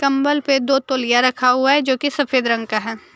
कंबल पे दो तोलिया रखा हुआ है जो कि सफेद रंग का है।